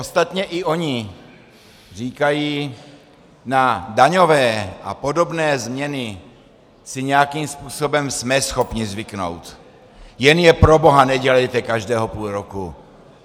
Ostatně i oni říkají: na daňové a podobné změny si nějakým způsobem jsme schopni zvyknout, jen je proboha nedělejte každého půl roku.